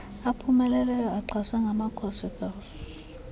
aphumeleleyo axhaswe ngamakhosikazi